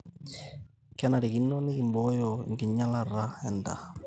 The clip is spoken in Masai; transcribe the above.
kenarikino nikimbooyo enkinyialata endaa